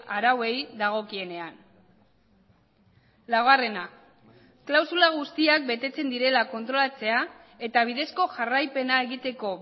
arauei dagokienean laugarrena klausula guztiak betetzen direla kontrolatzea eta bidezko jarraipena egiteko